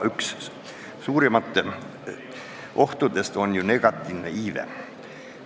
Üks suurimaid Eesti rahva ohte on negatiivne iive.